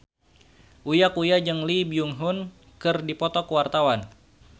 Uya Kuya jeung Lee Byung Hun keur dipoto ku wartawan